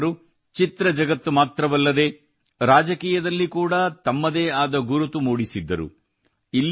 N T R ಅವರು ಚಿತ್ರ ಜಗತ್ತು ಮಾತ್ರವಲ್ಲದೇ ರಾಜಕೀಯದಲ್ಲಿ ಕೂಡಾ ತಮ್ಮದೇ ಆದ ಗುರುತು ಮೂಡಿಸಿದ್ದರು